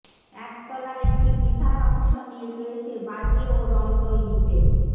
একতলার একটি বিশাল অংশ নিয়ে রয়েছে বাজি ও রং তৈরিতে